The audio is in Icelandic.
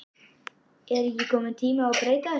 Er ekki kominn tími að breyta þessu?